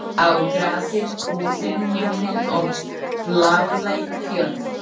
Á grasið, húsin, himininn og bláleit fjöll.